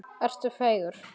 Ertu feigur?